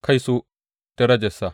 Kaito, darajarsa!’